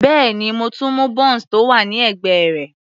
Bẹ́ẹ̀ni, mo tún mú bounce tó wà ní ẹ̀gbẹ́ rẹ̀.